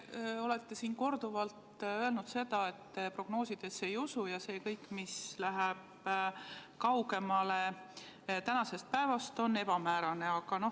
Te olete korduvalt öelnud seda, et te prognoosidesse ei usu ja kõik, mis läheb kaugemale tänasest päevast, on ebamäärane.